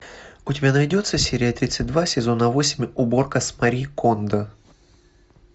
у тебя найдется серия тридцать два сезона восемь уборка с мари кондо